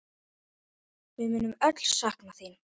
Við munum öll sakna þín.